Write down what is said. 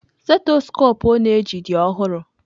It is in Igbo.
Stethọskopụ ọ na-eji dị ọhụrụ.